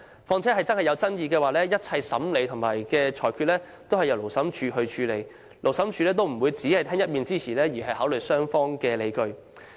況且，如有爭議，審理和裁決工作會由勞審處處理，勞審處不會只聽一面之詞，而是會考慮雙方的理據。